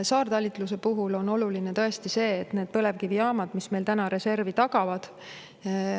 Saartalitluse puhul on oluline tõesti see, et põlevkivijaamu, mis meil täna reservi tagavad.